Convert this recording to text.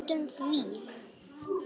Gleymdu því!